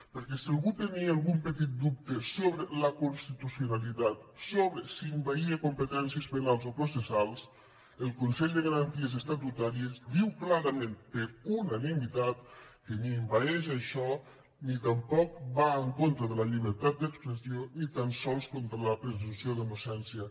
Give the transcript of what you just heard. perquè si algú tenia algun petit dubte sobre la constitucionalitat sobre si envaïa competències penals o processals el consell de garanties estatutàries diu clarament per unanimitat que ni envaeix això ni tampoc va en contra de la llibertat d’expressió ni tan sols contra la presumpció d’innocència